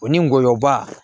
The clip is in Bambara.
O ni ngɔyɔ ba